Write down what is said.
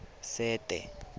sete